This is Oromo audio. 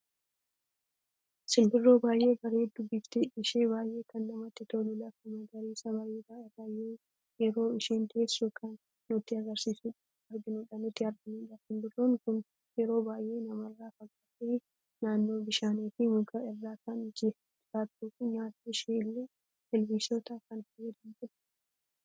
Simbirroo baay'ee bareeddu bifti ishee baay'ee kan namatti tolu, lafaa magarsiisa bareeda irra yeroo isheen teessuu kan nuti arginudha. Simbirroon kun yeroo baay'ee namarra fagaatte naannoo bishaanii fi muka irra kan jiraattuu fi nyaata ishee illee ilbiisoita kan fayyadamtudha.